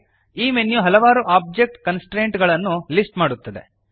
ಈ ಮೆನ್ಯು ಹಲವಾರು object constraint ಗಳನ್ನು ಲಿಸ್ಟ್ ಮಾಡುತ್ತದೆ